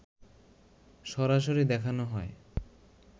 সরাসরি দেখানো হয়